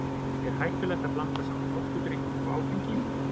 Er hættulegt að blanda saman orkudrykkjum og áfengi?